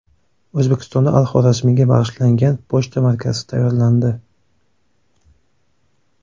O‘zbekistonda Al-Xorazmiyga bag‘ishlangan pochta markasi tayyorlandi.